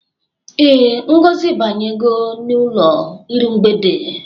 Ee, Ngozi abanyego n'ụlọ iru mgbede.